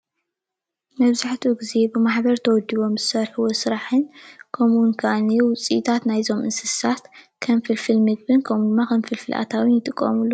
መብዛሕትኡ ግዜ ብማሕበር ተወዲቦም ዝሰርሕዎ ስራሕን ከምኡውን ከዓ ውፅኢታት ናይዞም እንስሳት ከም ፍልፍል ምግብን ከምኡ ድማ ከም ፍልፍል ኣታውን ይጥቀምሉ፡፡